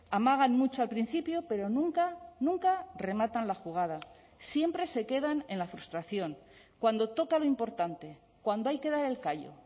amagan mucho al principio pero nunca nunca rematan la jugada siempre se quedan en la frustración cuando toca lo importante cuando hay que dar el callo